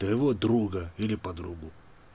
твоего друга или подругу